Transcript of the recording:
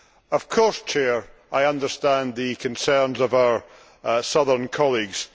Of course, I understand the concerns of our Southern colleagues.